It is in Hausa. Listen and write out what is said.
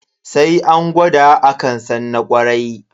Sai an gwada akan san na kwarai.